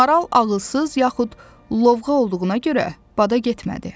Maral ağılsız, yaxud lovğa olduğuna görə bada getmədi.